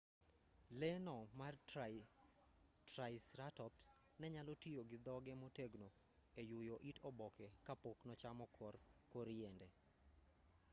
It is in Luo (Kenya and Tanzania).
leeno mar triceratops ne nyalo tiyo gi dhoge motegno e yuyo it oboke ka pok nochamo kor yiende